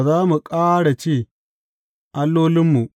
Ba za mu ƙara ce, Allolinmu’